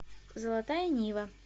золотая нива